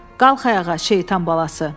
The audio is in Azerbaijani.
Qalx ayağa, şeytan balası!